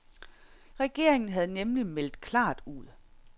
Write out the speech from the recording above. Regeringen havde nemlig meldt klart ud.